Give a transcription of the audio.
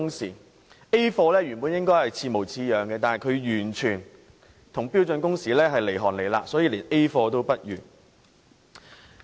所謂 "A 貨"，本應與正貨似模似樣的，但它卻與標準工時相差甚遠，所以是連 "A 貨"也不如。